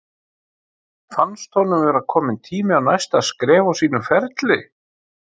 Fannst honum vera kominn tími á næsta skref á sínum ferli?